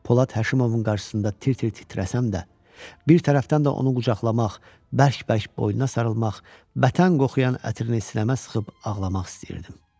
Polad Həşimovun qarşısında tir-tir titrəsəm də, bir tərəfdən də onu qucaqlamaq, bərk-bərk boynuna sarılmaq, vətən qoxuyan ətrini sinəmə sıxıb ağlamaq istəyirdim.